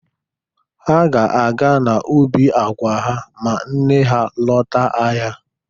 Ha ga-aga n'ubi agwa ha ma nne ha lọta ahịa.